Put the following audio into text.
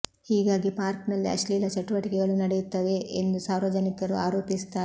ಹೀಗಾಗಿ ಪಾರ್ಕ್ ನಲ್ಲಿ ಅಶ್ಲೀಲ ಚಟುವಟಿಕೆಗಳು ನಡೆಯುತ್ತವೆ ಎಂದು ಸಾರ್ವಜನಿಕರು ಆರೋಪಿಸುತ್ತಾರೆ